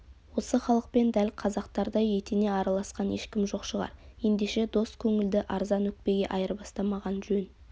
осы халықпен дәл қазақтардай етене араласқан ешкім жоқ шығар ендеше дос көңілді арзан өкпеге айырбастамаған жөн